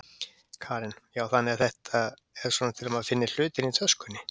Karen: Já, þannig að þetta er svona til að maður finni hlutina í töskunni?